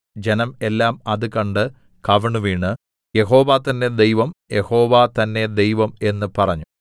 ജനം എല്ലാം അത് കണ്ട് കവിണ്ണുവീണ് യഹോവ തന്നേ ദൈവം യഹോവ തന്നേ ദൈവം എന്ന് പറഞ്ഞു